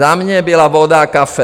Za mě byla voda a kafe.